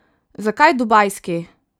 Zakaj dubajski?